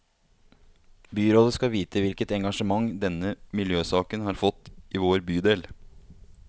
Byrådet skal vite hvilket engasjement denne miljøsaken har fått i vår bydel.